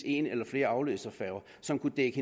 en eller flere afløserfærger som kunne dække